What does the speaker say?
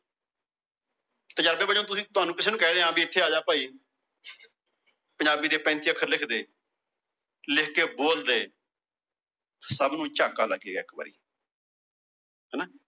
ਤੁਹਾਨੂੰ ਕਿਸੇ ਨੂੰ ਕਹਿ ਦਿਆਂ ਵੀ ਇੱਥੇ ਆ ਜਾ ਭਾਈ। ਪੰਜਾਬੀ ਦੇ ਪੈਂਤੀ ਅੱਖਰ ਲਿਖ ਦੇ। ਲਿਖ ਕੇ ਬੋਲ ਦੇ। ਸਭ ਨੂੰ ਝਾਕਾ ਲੱਗੇਗਾ ਇੱਕ ਵਾਰੀ। ਹਣਾ